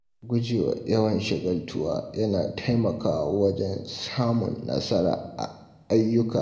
Gujewa yawan shagaltuwa yana taimakawa wajen samun nasara a ayyuka.